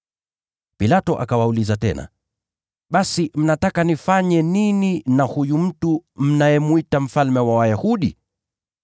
Pilato akawauliza tena, “Basi mnataka nifanye nini na huyu mtu mnayemwita Mfalme wa Wayahudi?”